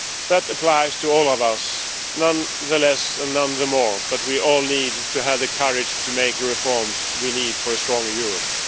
That applies to all of us none less and none more but we all need to have the courage to make the reforms we need for a stronger Europe.